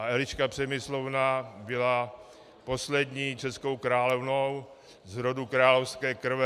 A Eliška Přemyslovna byla poslední českou královnou z roku královské krve.